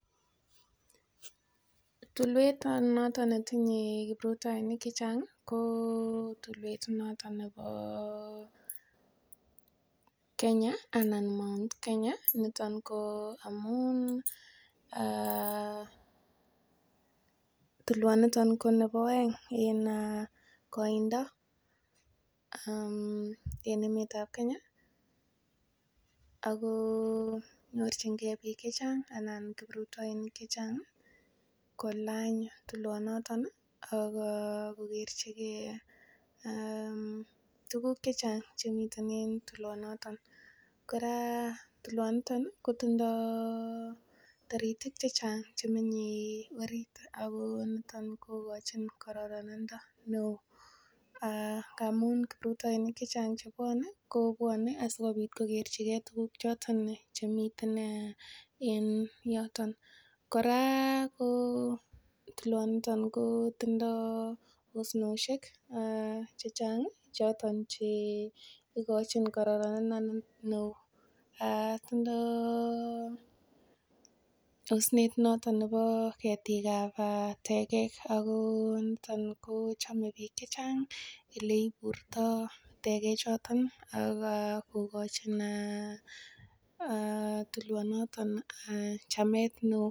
Tulwet noton netinye kiprutoinik chechang ko noto nebo Kenya anan Mt. Kenya niton ko amun tulwonito ko nebo oeng en koindo en Africa. Ago nyorjinge biik chechang anan kiprutoinik chechang kolany tulwonot ak kogerchige tuguk che chang chemiten en tulwonoto. Kora tulwonito kotindo taritik chechang che menye orit ago niton kogochin kororonindo neo ngamun kiprutoinik chechang che bwone, kobwone asikobit kokerchige tuguk choto chemiten en yoton. Kora ko tulwoniton kotindo asnoshek che chang choton che igochin kororonindo neo. Kora tindo osnet neo nebo ketikab tegek ago niton ko chame biikche chang ele iburtoi tegechoto ak kogochin tulwonoto chametneo.